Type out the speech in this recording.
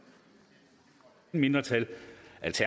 mindretal